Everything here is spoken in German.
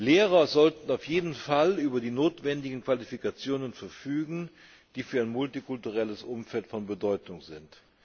Lehrer sollten auf jeden Fall über die notwendigen Qualifikationen verfügen, die für ein multikulturelles Umfeld von Bedeutung sind.